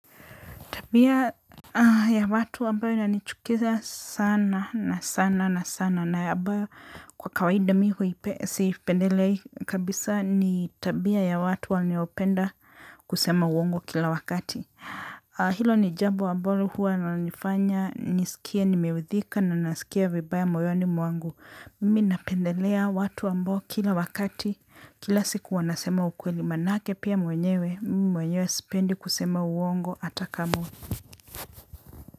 Tabia ya watu ambayo inanichukiza sana na sana na sana na abayo kwa kawaida mi sipendelei kabisa ni tabia ya watu waniopenda kusema uongo kila wakati. Hilo ni jambo ambalo huwa inanifanya nisikie nimeuthika nanisikia vibaya moyoni mwangu. Minapendelea watu ambao kila wakati kila siku wanasema ukweli manake pia mwenyewe mimi mwenyewe spendi kusema uongo atakamu.